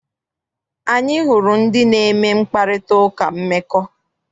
Anyị hụrụ ndị na-eme mkparitauka mmekọ.